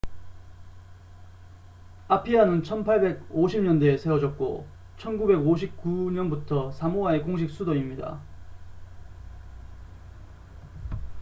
아피아는 1850년대에 세워졌고 1959년부터 사모아의 공식 수도입니다